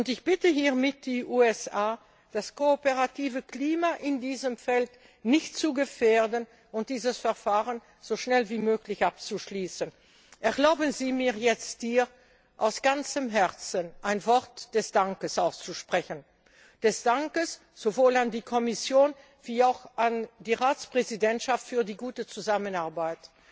Ich bitte hiermit die USA, das kooperative Klima in diesem Bereich nicht zu gefährden und dieses Verfahren so schnell wie möglich abzuschließen. Erlauben Sie mir jetzt, aus ganzem Herzen ein Wort des Dankes auszusprechen. Des Dankes sowohl an die Kommission als auch an die Ratspräsidentschaft für die gute Zusammenarbeit,